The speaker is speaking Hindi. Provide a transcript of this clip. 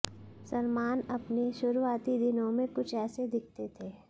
सलमान अपने शुरुआती दिनों में कुछ ऐसे दिखते थे